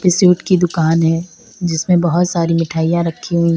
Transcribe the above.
Suite की दुकान है जिसमें बहुत सारी मिठाइयां रखी हैं।